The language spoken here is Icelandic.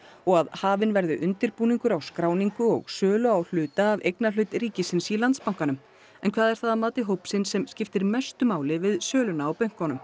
og að hafinn verði undirbúningur á skráningu og sölu á hluta af eignarhlut ríkisins í Landsbankanum en hvað er það að mati hópsins sem skiptir mestu máli við söluna á bönkunum